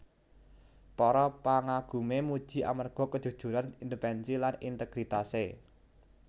Para pangagumé muji amarga kejujuran independensi lan integritasé